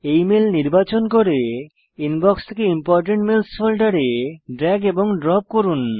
এই মেল নির্বাচন করে ইনবক্স থেকে ইম্পোর্টেন্ট মেইলস ফোল্ডারে ড্রেগ এবং ড্রপ করুন